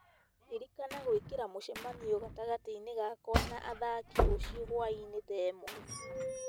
ririkana gwĩkĩra mũcemanio gatagatĩ-inĩ gakwa na athaki rũciũ hwaĩ-inĩ thaa ĩmwe